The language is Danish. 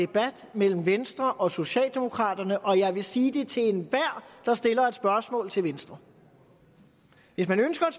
debat mellem venstre og socialdemokraterne og jeg vil sige det til enhver der stiller et spørgsmål til venstre hvis man ønsker et